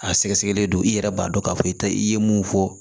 A sɛgɛsɛgɛlen don i yɛrɛ b'a dɔn k'a fɔ i tɛ i ye mun fɔ